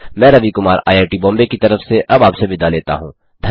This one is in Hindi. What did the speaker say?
मैं Ravi Kumar I I T Bombay की तरफ से अब आपसे विदा लेता हूँ